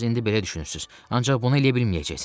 Siz indi belə düşünürsünüz, ancaq bunu eləyə bilməyəcəksən.